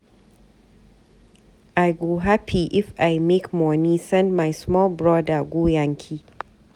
I go hapi if I make moni send my small broda go yankee.